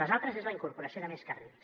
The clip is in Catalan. l’altra és la incorporació de més carrils